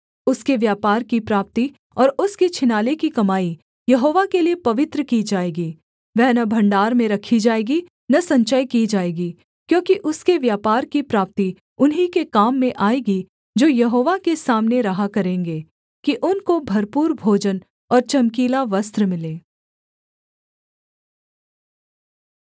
उसके व्यापार की प्राप्ति और उसके छिनाले की कमाई यहोवा के लिये पवित्र की जाएगी वह न भण्डार में रखी जाएगी न संचय की जाएगी क्योंकि उसके व्यापार की प्राप्ति उन्हीं के काम में आएगी जो यहोवा के सामने रहा करेंगे कि उनको भरपूर भोजन और चमकीला वस्त्र मिले